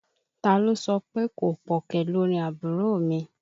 Ta ló sọpé kò pọ̀ kẹ̀ lórin àbúrò mi.